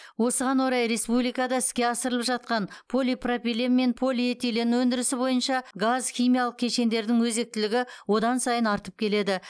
осыған орайда республикада іске асырылып жатқан полипропилен мен полиэтилен өндірісі бойынша газ химиялық кешендердің өзектілігі одан сайын артып келеді